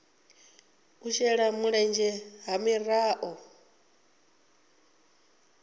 u shela mulenzhe ha miraḓo